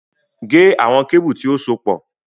Gé àwọn kébù tí ó sopọ̀